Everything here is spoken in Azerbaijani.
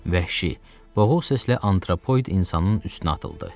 Vəhşi boğuq səslə antropoid insanın üstünə atıldı.